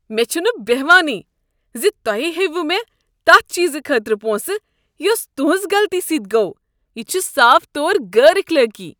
مےٚ چھنہٕ بیہوانٕے ز تُہۍ ہیٚیو مےٚ تتھہ چیزٕ خٲطرٕ پونٛسہٕ یس تہنٛز غلطی سۭتۍ گوٚو۔ یہ چھ صاف طور غیر اخلٲقی۔